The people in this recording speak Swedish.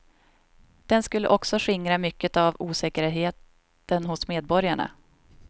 Den skulle också skingra mycket av osäkerheten hos medborgarna.